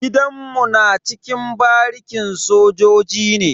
Gidanmu na cikin barikin sojoji ne.